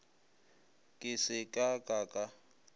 ke se ka ka ka